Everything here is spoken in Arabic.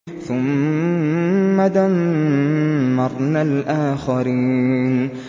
ثُمَّ دَمَّرْنَا الْآخَرِينَ